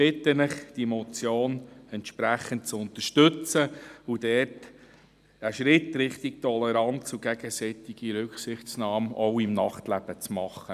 Ich bitte Sie, diese Motion entsprechend zu unterstützen und dort einen Schritt in Richtung Toleranz und gegenseitiger Rücksichtnahme, auch im Nachtleben, zu machen.